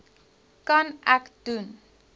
kan ek doen